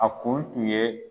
A kun tun ye